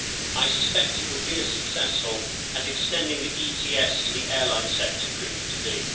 I suspect it would be as successful as extending the ETS to the airline sector proved to be.